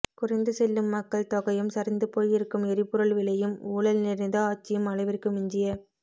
குறைந்து செல்லும் மக்கள் தொகையும் சரிந்து போய் இருக்கும் எரிபொருள் விலையும் ஊழல் நிறைந்த ஆட்சியும் அளவிற்கு மிஞ்சிய